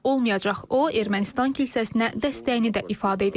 O, Ermənistan kilsəsinə dəstəyini də ifadə edib.